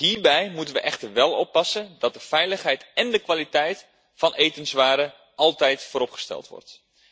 Hierbij moeten we echter wel oppassen dat de veiligheid en de kwaliteit van etenswaren altijd vooropgesteld worden.